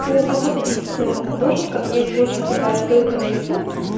у кого-то из художников есть очень крутая ссылка на ютуб